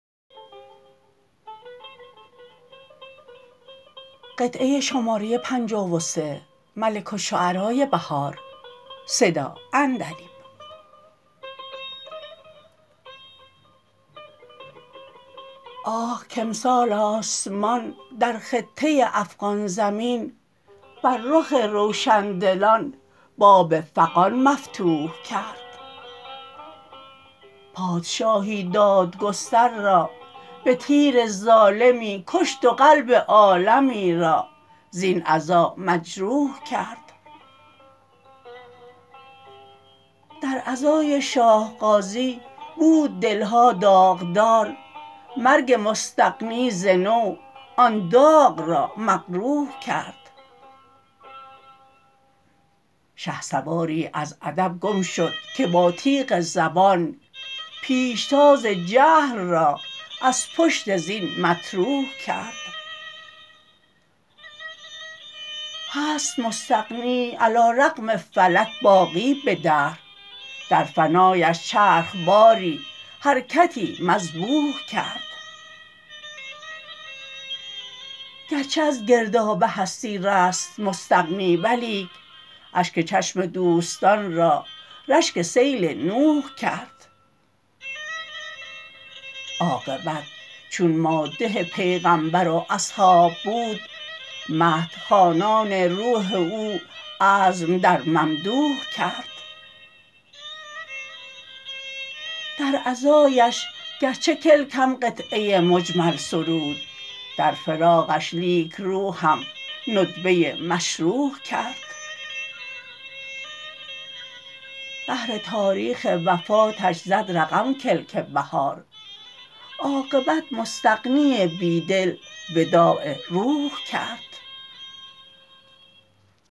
آه کامسال آسمان در خطه افغان زمین بر رخ روشندلان باب فغان مفتوح کرد پادشاهی دادگستر را به تیر ظالمی کشت و قلب عالمی را زین عزا مجروح کرد در عزای شاه غازی بود دل ها داغدار مرگ مستغنی ز نو آن داغ را مقروح کرد شهسواری از ادب گم شد که با تیغ زبان پیشتاز جهل را از پشت زین مطروح کرد هست مستغنی علی رغم فلک باقی به دهر در فنایش چرخ باری حرکتی مذبوح کرد گرچه از گرداب هستی رست مستغنی ولیک اشک چشم دوستان را رشک سیل نوح کرد عاقبت چون مادح پیغمبر و اصحاب بود مدح خوانان روح او عزم در ممدوح کرد در عزایش گرچه کلکم قطعه مجمل سرود در فراغش لیک روحم ندبه مشروح کرد بهر تاریخ وفاتش زد رقم کلک بهار عاقبت مستغنی بی دل وداع روح کرد